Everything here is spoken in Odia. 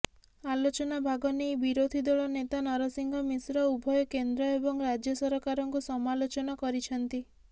ଆଲୋଚନା ଭାଗନେଇ ବିରୋଧୀ ଦଳ ନେତା ନରସିଂହ ମିଶ୍ର ଉଭୟ କେନ୍ଦ୍ର ଏବଂ ରାଜ୍ୟ ସରକାରଙ୍କୁ ସମାଲୋଚନା କରିଛନ୍ତି